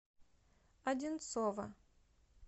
одинцово